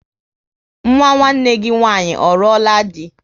Nwa nwanne gị nwaanyị ọ ruola di?